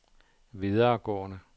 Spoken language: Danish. videregående